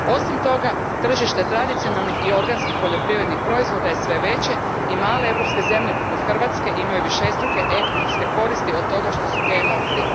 Osim toga, tržište tradicionalnih i organskih poljoprivrednih proizvoda sve je veće i male europske zemlje, poput Hrvatske, imaju višestruke ekonomske koristi od toga što su GMO free.